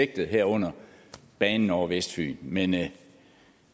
herunder banen over vestfyn men